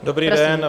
Dobrý den.